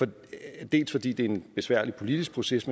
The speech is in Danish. dels fordi det er en besværlig politisk proces